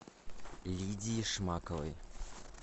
лидии шмаковой